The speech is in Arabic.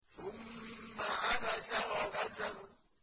ثُمَّ عَبَسَ وَبَسَرَ